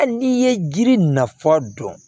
Hali n'i ye jiri nafa dɔn